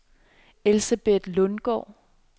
Elsebeth Lundgaard